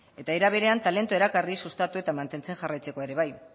eta era berean talentua erakarri sustatu eta mantentzekoa ere bai